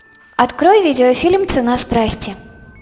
открой видеофильм цена страсти